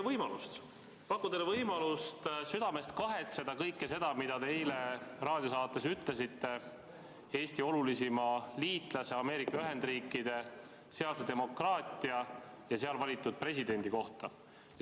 Aga ma pakun teile võimalust südamest kahetseda kõike seda, mida te eile raadiosaates ütlesite Eesti olulisima liitlase, Ameerika Ühendriikide, sealse demokraatia ja seal valitud presidendi kohta.